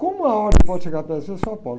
Como a ordem pode chegar para você e falar, olha,